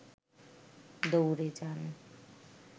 দৌড়ে যান